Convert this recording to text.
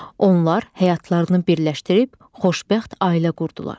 Onlar həyatlarını birləşdirib xoşbəxt ailə qurdular.